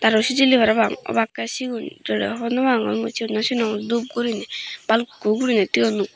aro sijili parapang obakkey siyun doley hobor nopangor mui siyun no sinongor dub gurinei balukkun gurinei tuyon.